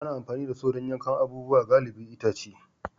Ana amfani da Saw don yankan abubuwa galibi itace